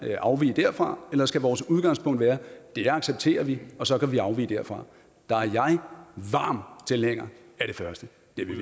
afvige derfra eller skal vores udgangspunkt være at det accepterer vi og så kan vi afvige derfra jeg er varm tilhænger af det første